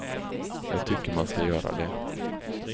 Jag tycker man ska göra det.